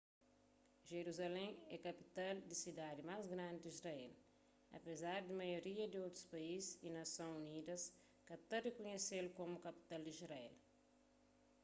jeruzalén é kapital y sidadi más grandi di israel apezar di maioria di otus país y nason unidas ka ta rikunhese-l komu kapital di israel